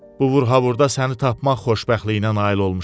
Bu vurhavurda səni tapmaq xoşbəxtliyinə nail olmuşam.